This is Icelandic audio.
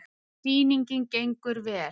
Sýningin gengur vel.